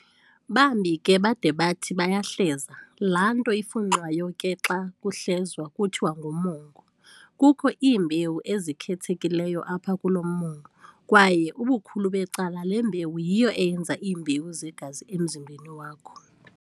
Bambi ke bade bathi bayahleza, laanto ifunxwayo ke xa kuhlezwa kuthiwa ngumongo. Kukho iimbewu ezikhethekileyo apha kulo mongo, kwaye ubukhulu becala le mbewu yiyo eyenza iimbewu zegazi emzimbeni wakho.